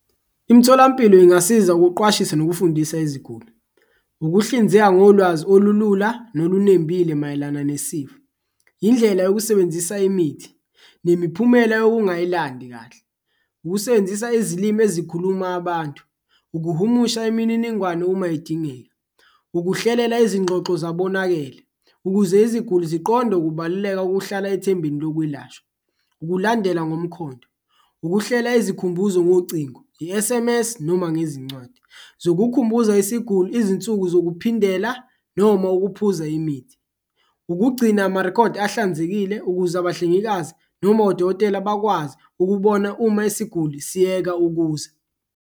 Imitholampilo ingasiza ukuqwashisa nokufundisa iziguli, ukuhlinzeka ngolwazi olulula nolunembile mayelana nesifo, indlela yokusebenzisa imithi nemiphumela yokungayilandi kahle, ukusebenzisa izilimi ezikhuluma abantu, ukuhumusha imininingwane uma idingeka. Ukuhlelela izingxoxo zabonakele ukuze iziguli ziqonde ukubaluleka kokuhlala ethembeni lokwelashwa, ukulandela ngomkhondo, ukuhlela izikhumbuzo ngocingo, i-S_M_S noma ngezincwadi zokukhumbuza isiguli izinsuku zokuphindela noma ukuphuza imithi. Ukugcina amarikhodi ahlanzekile ukuze abahlengikazi noma odokotela bakwazi ukubona uma isiguli siyeka ukuza.